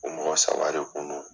U mɔgɔ saba de kun don.